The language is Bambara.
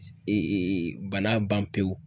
bana ban pewu.